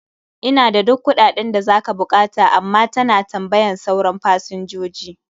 Ina da duk kuɗaɗen da za ka buƙata, amma ta na tambayan sauran fasinjoji.